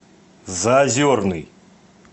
заозерный